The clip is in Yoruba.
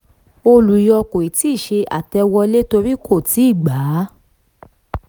olùyọ kò tíì ṣe àtẹ̀wọlé torí kò tíì gbà á